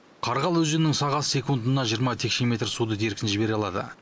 қарғалы өзенінің сағасы секундына жиырма текше метр суды еркін жібере алады